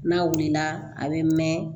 N'a wulila a bɛ mɛn